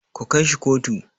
Ku kai shi kotu.